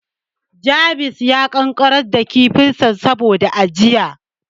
James ya ƙanƙarar da kifinsa saboda ajiya.